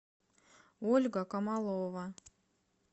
ольга камалова